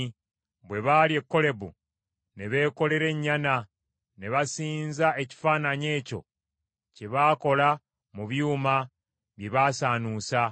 Bwe baali e Kolebu ne beekolera ennyana; ne basinza ekifaananyi ekyo kye baakola mu byuma bye baasaanuusa.